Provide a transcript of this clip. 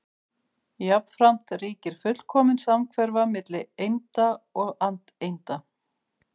Jafnframt ríkir fullkomin samhverfa milli einda og andeinda.